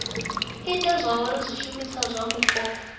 ite zwauri zwishumiswa zwa mupo